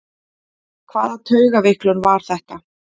Hvaða taugaveiklun var þetta?